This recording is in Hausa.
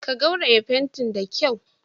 Ka rogaya fantin da kyau.